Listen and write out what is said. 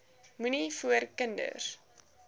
moenie voor kinders